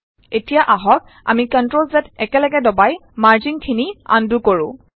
এতিয়া আহক আমি CTRLZ একেলগে দবাই মাৰ্জিংখিনি আন্ডু কৰো